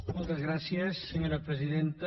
moltes gràcies senyora presidenta